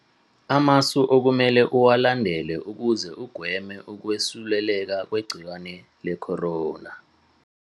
Amasu okumele uwalandele ukuze ugweme ukwesuleleka ngegciwane leCorona.